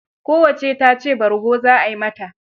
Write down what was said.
Kowacce ta ce bargo za ai mata.